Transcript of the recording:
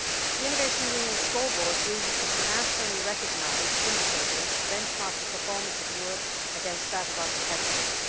The Innovation Union Scoreboard uses internationally recognised indicators to benchmark the performance of Europe against that of our competitors.